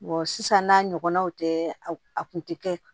sisan n'a ɲɔgɔnnaw tɛ a kun tɛ kɛ